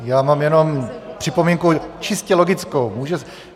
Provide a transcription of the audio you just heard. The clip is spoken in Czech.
Já mám jenom připomínku čistě logickou.